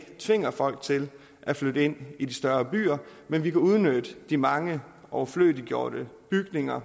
tvinger folk til at flytte ind i de større byer men vi kan udnytte de mange overflødiggjorte bygninger